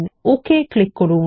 তারপর OK click করুন